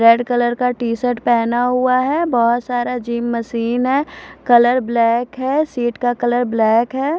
Red colour का T shirt पहना हुआ है बहुत सारा जिम मशीन है कलर ब्लैक है शीट का कलर ब्लैक है।